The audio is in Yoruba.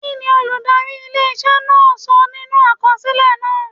Kí ni olùdarí ilé iṣẹ́ náà kọ sínú àkọsílẹ̀ náà?